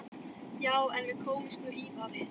Já, en með kómísku ívafi.